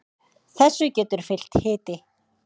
þessu getur fylgt hiti